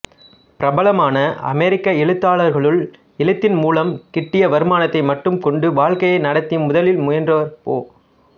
பிரபலமான அமெரிக்க எழுத்தாளர்களுள் எழுத்தின் மூலம் கிட்டிய வருமானத்தை மட்டும் கொண்டு வாழ்க்கையை நடத்த முதலில் முயன்றவர் போ